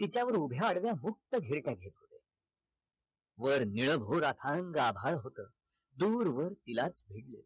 तिच्या वर उभ्या आडव्या हुब्त घेर टाक वर निळभोर अथांग आभाळ होत दूरवर तिला धरल